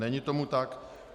Není tomu tak.